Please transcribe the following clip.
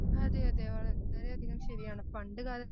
അതെ അതെ വളരെയധികം ശരിയാണ് പണ്ടുകാല